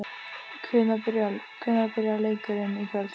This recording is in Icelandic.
Hvenær byrjar leikurinn í kvöld?